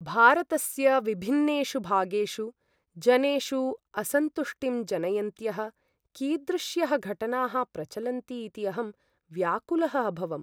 भारतस्य विभिन्नेषु भागेषु, जनेषु असन्तुष्टिं जनयन्त्यः कीदृश्यः घटनाः प्रचलन्ति इति अहं व्याकुलः अभवम्।